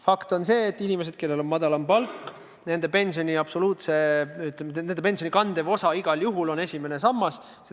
Fakt on see, et inimestel, kellel on madalam palk, on pensioni kandev osa igal juhul esimene sammas.